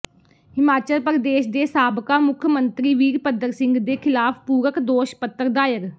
ਹਿਮਾਚਲ ਪ੍ਰਦੇਸ਼ ਦੇ ਸਾਬਕਾ ਮੁੱਖ ਮੰਤਰੀ ਵੀਰਭੱਦਰ ਸਿੰਘ ਦੇ ਖਿਲਾਫ ਪੂਰਕ ਦੋਸ਼ ਪੱਤਰ ਦਾਇਰ